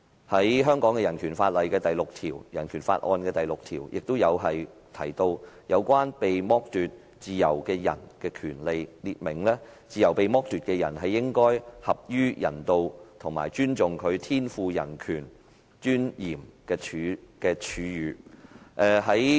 香港的人權法案第六條亦提到有關被剝奪自由的人的權利，列明"自由被剝奪之人，應受合於人道及尊重其天賦人格尊嚴之處遇"。